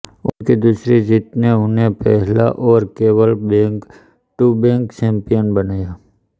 उनकी दूसरी जीत ने उन्हें पहला और केवल बैक टू बैक चैंपियन बनाया